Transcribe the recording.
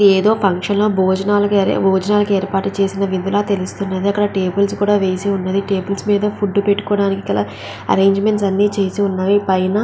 ఏదో ఫంక్షన్లో భోజనాలు భోజనాలుకి ఏర్పాటు చేసిన విధంగా తెలుస్తున్నది. అక్కడ టేబల్స్ కూడా వేసి ఉన్నది. టేబల్స్ మీద ఫుడ్ పెట్టుకోటానికి ఎరేంజ్మెంట్స్ అన్నీ చేసి ఉన్నాయి.